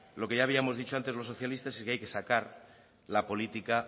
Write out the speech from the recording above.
lo que ya habíamos dicho antes los socialistas es que hay que sacar la política